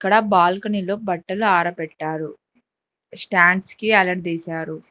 ఆడ బాల్కనీలో బట్టలు ఆరపెట్టారు స్టాండ్స్ కి ఏలాడదీశారు.